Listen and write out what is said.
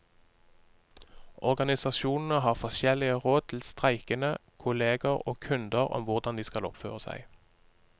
Organisasjonene har forskjellige råd til streikende, kolleger og kunder om hvordan de skal oppføre seg.